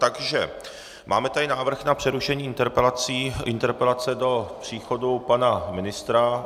Takže máme tady návrh na přerušení interpelace do příchodu pana ministra.